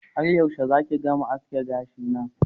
Har yaushe zaki gama aske gashina